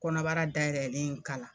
Kɔnɔbara dayɛlɛlen in kala.